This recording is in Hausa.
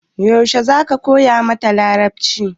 Yaushe za ka koya mata Larabci?